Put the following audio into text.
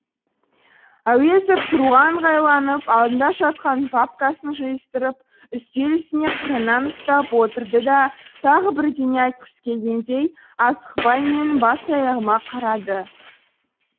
әуезов тұруға ыңғайланып алдында жатқан папкасын жиыстырып үстел үстіне қырынан ұстап отырды да тағы бірдеңе айтқысы келгендей асықпай менің бас аяғыма қарады